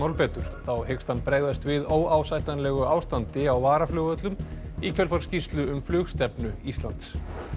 betur þá hyggst hann bregðast við óásættanlegu ástandi á varaflugvöllum í kjölfar skýrslu um flugstefnu Íslands